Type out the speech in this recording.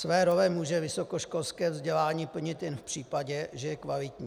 Své role může vysokoškolské vzdělání plnit jen v případě, že je kvalitní.